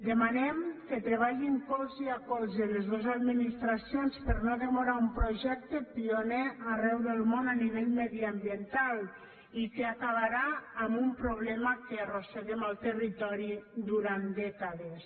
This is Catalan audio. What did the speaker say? demanem que treballin colze a colze les dos administracions per no demorar un projecte pioner arreu del món a nivell mediambiental i que acabarà amb un problema que arrosseguem en el territori durant dècades